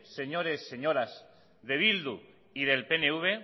señores y señoras de bildu y del pnv